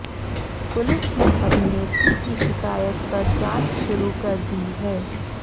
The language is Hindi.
पुलिस ने अभिनेत्री की शिकायत पर जांच शुरू कर दी है